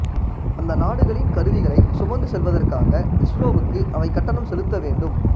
அந்த நாடுகளின் கருவிகளை சுமந்து செல்வதற்காக இஸ்ரோவுக்கு அவை கட்டணம் செலுத்த வேண்டும்